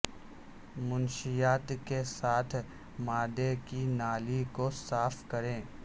منشیات کے ساتھ معدے کی نالی کو صاف کریں